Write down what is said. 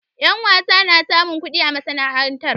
Ƴa wasa na samun kuɗi a masana'antar.